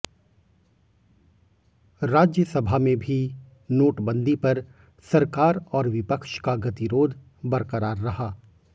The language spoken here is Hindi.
राज्यसभा में भी नोटबंदी पर सरकार और विपक्ष का गतिरोध बरकरार रहा